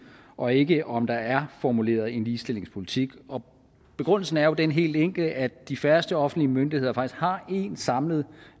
og ikke om der er formuleret en ligestillingspolitik og begrundelsen er jo den helt enkle at de færreste offentlige myndigheder faktisk har én samlet